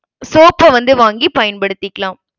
soap அ வந்து வாங்கி பயன்படுத்திக்கலாம்.